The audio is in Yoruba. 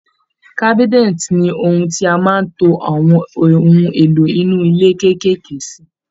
Cabinet ni ohun tí a máa ń to àwọn ohun èlò inú ilé kékèèké sí